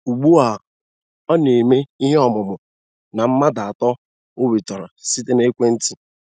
Ugbu a, ọ na - eme ihe ọmumu na mmadụ atọ o nwetara site na ekwe nti